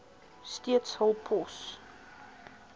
steeds hul pos